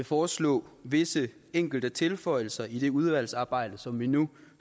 foreslå visse enkelte tilføjelser i det udvalgsarbejde som vi nu